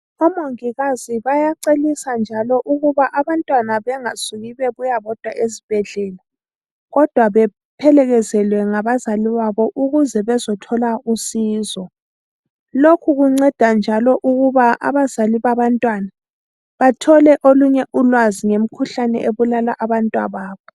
Omongikazi bayaceliswa njalo ukuba abantwana bengasuki bebuya bodwa esibhedlela kodwa bephelekezelwe ngabazali babo ukuze bezothola usizo. Lokhu kunceda njalo ukuba abazali babantwana bathole olunye ulwazi ngemikhuhlane ebulala abantwababo.